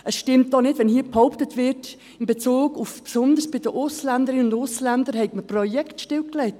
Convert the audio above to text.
Es stimmt auch nicht, wenn hier behauptet wird, man habe Projekte besonders in Bezug auf Ausländerinnen und Ausländer stillgelegt.